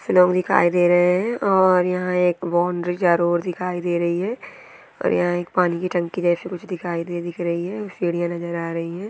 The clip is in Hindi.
लोग दिखाई दे रहे है और यहाँ एक बाउंड्री जरूर दिखाई दे रही है और यहाँ एक पानी के टंकी जैसी कुछ दिखाई दे दिख रही है और सिडिया नज़र आ रही है।